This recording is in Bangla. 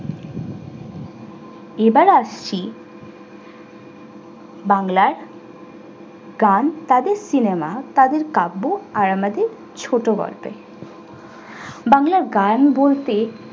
এবার আসছি বাংলার গান তাদের সিনেমা তাদের কাব্য আর আমাদের ছোটগল্পে। বাংলার গান বলতে